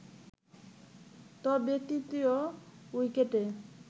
তবে তৃতীয় উইকেটে